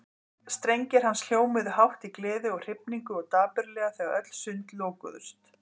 Strengir hans hljómuðu hátt í gleði og hrifningu og dapurlega þegar öll sund lokuðust.